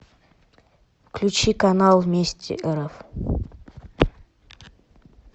включи канал вместе рф